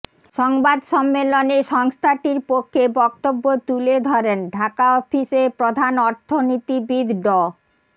সংবাদ সম্মেলনে সংস্থাটির পক্ষে বক্তব্য তুলে ধরেন ঢাকা অফিসের প্রধান অর্থনীতিবিদ ড